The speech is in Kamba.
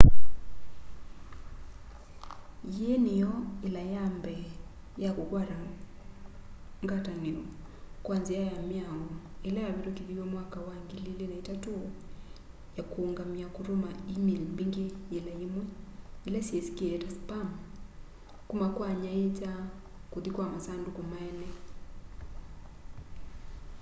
yiĩ nĩyo yila ya mbee ya kũkwata ngatanio kwa nzĩa ya mĩao ila yavitumikithiwe mwaka wa 2003 ya kuũngamya kũtũma e-mail mbingĩ yĩla yĩmwe ila syĩsikie ta spam kuma kwa anyaiicha kũthi kwa masandũkũ ma eene